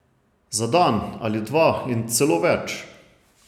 Za dan ali dva in celo več!